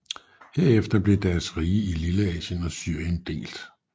Herefter blev deres rige i Lilleasien og Syrien delt